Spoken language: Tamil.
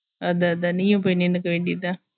அத அத நீயும் போய் நின்னுக்க வேண்டியதுதா